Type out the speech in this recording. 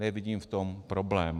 Nevidím v tom problém.